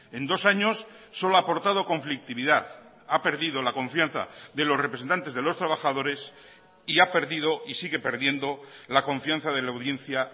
en dos años solo ha aportado conflictividad ha perdido la confianza de los representantes de los trabajadores y ha perdido y sigue perdiendo la confianza de la audiencia